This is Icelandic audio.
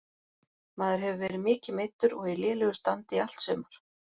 Maður hefur verið mikið meiddur og í lélegu standi í allt sumar.